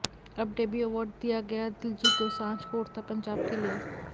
अब debut award दिया गया दिलजीत दोसान्ज्ह को उड़ता पंजाब के लिए